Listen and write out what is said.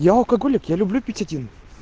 я алкоголик я люблю пить один